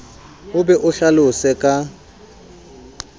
o be o hlalose ka